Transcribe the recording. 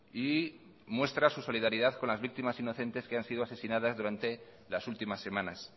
y muestra su solidaridad con las víctimas inocentes que han sido asesinadas durante las últimas semanas